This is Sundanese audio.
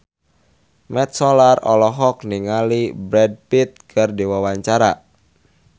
Mat Solar olohok ningali Brad Pitt keur diwawancara